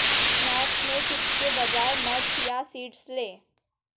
snacks में chips के बजाए नट्स या सीड्स लें